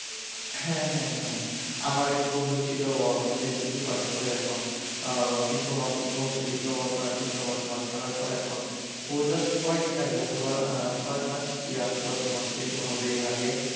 হ্যাঁ হ্যাঁ হ্যাঁ আমার এক বন্ধুর ছিল ও এখন এসএসসি পাস করে এখন ডিপ্লোমা করছে এখন ডিপ্লোমা পাস করার পর এখন ও জাস্ট কয়েকদিন আগে হয়তোবা ছয় মাস কিংবা দশ মাস এরকম ভাবে আগে